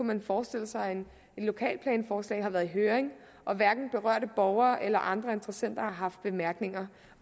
man forestille sig at et lokalplanforslag har været i høring og at hverken berørte borgere eller andre interessenter har haft bemærkninger